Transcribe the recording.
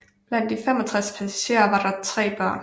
Blandt de 65 passagerer var der tre børn